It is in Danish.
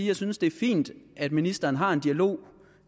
jeg synes det er fint at ministeren har en dialog